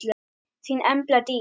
Þín Embla Dís.